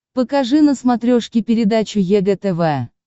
покажи на смотрешке передачу егэ тв